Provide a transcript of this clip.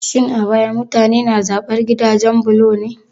Shin a baya mutane na zaɓar gidajen bulo ne?